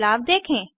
बदलाव देखें